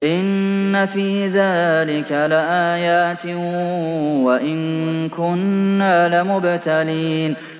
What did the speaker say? إِنَّ فِي ذَٰلِكَ لَآيَاتٍ وَإِن كُنَّا لَمُبْتَلِينَ